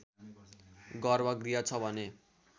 गर्भ गृह छ भने